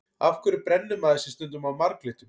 Af hverju brennir maður sig stundum á marglyttum?